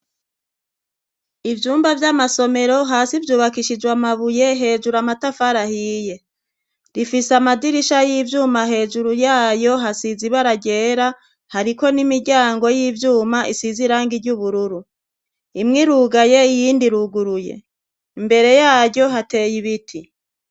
Ivyumba vy'amasomero hasi vyubakishijwe amabuye hejuru amatafarahiye rifise amadirisha y'ivyuma hejuru yayo hasiza ibararyera hariko n'imiryango y'ivyuma isize iranga iry'ubururu imwoirugaye iyindi iruguruye imbere yayo hateye ibiti.